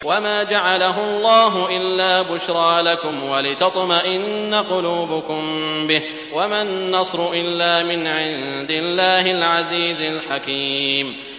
وَمَا جَعَلَهُ اللَّهُ إِلَّا بُشْرَىٰ لَكُمْ وَلِتَطْمَئِنَّ قُلُوبُكُم بِهِ ۗ وَمَا النَّصْرُ إِلَّا مِنْ عِندِ اللَّهِ الْعَزِيزِ الْحَكِيمِ